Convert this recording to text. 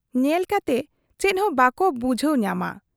ᱧᱮᱞ ᱠᱟᱛᱮ ᱪᱮᱫᱦᱚᱸ ᱵᱟᱠᱚ ᱵᱩᱡᱷᱟᱹᱣ ᱧᱟᱢ ᱟ ᱾